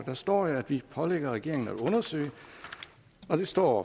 der står at vi pålægger regeringen at undersøge og det står